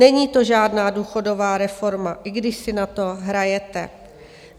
Není to žádná důchodová reforma, i když si na to hrajete.